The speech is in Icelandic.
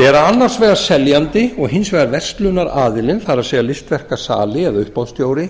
bera annars vegar seljandi og hins vegar verslunaraðili það er listaverkasali eða uppboðsstjóri